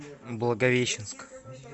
благовещенск